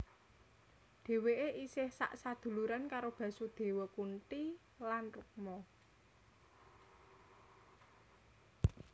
Dhèwèké isih sak saduluran karo Basudewa Kunti lan Rukma